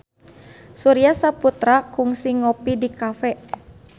Surya Saputra kungsi ngopi di cafe